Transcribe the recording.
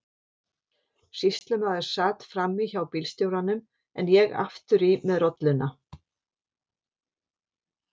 Sýslumaður sat fram í hjá bílstjóranum en ég aftur í með rolluna.